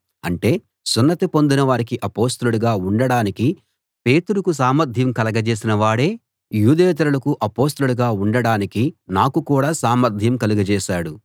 అంటే సున్నతి పొందిన వారికి అపొస్తలుడుగా ఉండడానికి పేతురుకు సామర్థ్యం కలగజేసిన వాడే యూదేతరులకు అపొస్తలుడుగా ఉండడానికి నాకు కూడా సామర్థ్యం కలగజేశాడు